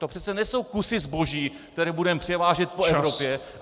To přece nejsou kusy zboží, které budeme převážet po Evropě!